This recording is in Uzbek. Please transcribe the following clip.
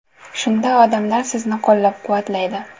Shunda odamlar sizni qo‘llab-quvvatlaydi.